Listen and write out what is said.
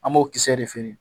An b'o kisɛ de feere